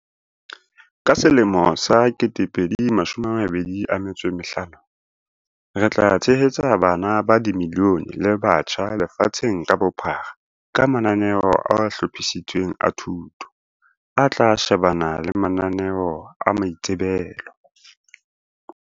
"Ka selemo sa 2025, re tla tshehetsa bana ba milione le batjha lefatsheng ka bophara ka mananeo a hlophisitsweng a thuto, a tla shebana le mananeo a maitsebelo."